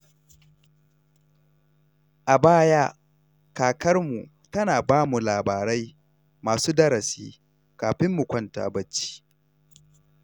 A baya, kakarmu tana ba mu labarai masu darasi kafin mu kwanta barci.